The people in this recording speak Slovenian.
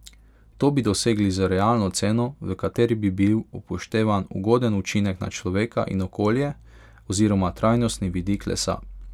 To bi dosegli z realno ceno, v kateri bi bil upoštevan ugoden učinek na človeka in okolje oziroma trajnostni vidik lesa.